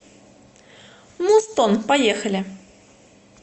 музтон поехали